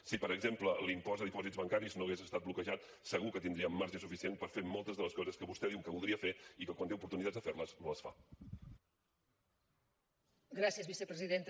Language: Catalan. si per exemple l’impost de dipòsits bancaris no hagués estat bloquejat segur que tindríem marge suficient moltes de les coses que vostè diu que voldria fer i que quan té oportunitats de fer les no les fa